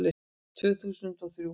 Tvö þúsund og þrjú